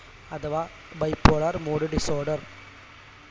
അഥവാ bipolar mood disorder